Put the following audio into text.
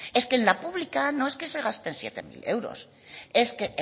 es que en la pública no es que se gasten siete mil euros es que